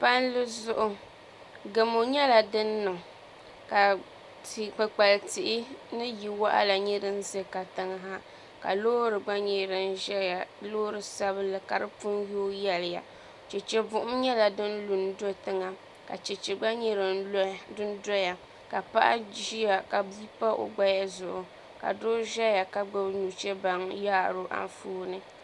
Palli zuɣu gamo nyɛla din niŋ ka kpukpali tihi ni yili waɣala nyɛ din ʒɛ katiŋa ka loori gba nyɛ din ʒɛya loori sabinli ka di puni yooi yɛliya chɛchɛ buɣum nyɛla din lu n do tiŋa ka chɛchɛ gba nyɛ din doya ka paɣa ʒiya ka gbubi bia ka doo ʒɛya ka gbubi nuchɛ baŋ n yaaro Anfooni